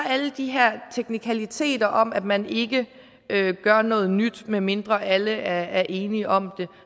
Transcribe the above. alle de her teknikaliteter om at man ikke gør noget nyt medmindre alle er enige om